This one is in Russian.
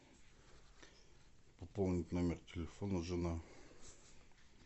пополнить номер телефона жена